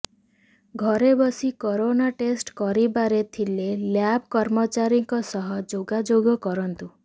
ଘରେ ବସି corona test କରିବାରେ ଥିଲେ ଲ୍ୟାବ କର୍ମଚାରୀଙ୍କ ସହ ଯୋଗାଯୋଗ କରନ୍ତୁ